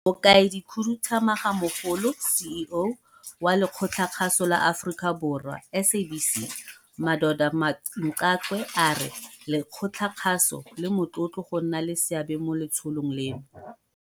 Mokaedikhuduthamagamogolo, CEO, wa Lekgotlakgaso la Aforika Borwa, SABC, Madoda Mxakwe a re lekgotlakgaso le motlotlo go nna le seabe mo letsholong leno.